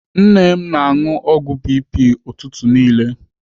Nne m na-anụ ọgwụ BP ụtụtụ niile.